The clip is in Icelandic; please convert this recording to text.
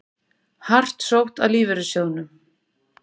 Hart sótt að lífeyrissjóðunum